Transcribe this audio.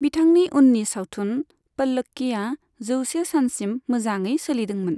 बिथांनि उननि सावथुन 'पल्लक्की'आ जौसे सानसिम मोजांङै सोलिदोंमोन।